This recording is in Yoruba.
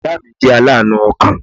Ìya mi jẹ́ aláànú ọkàn